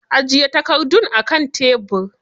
Ajiye takardun akan tebir.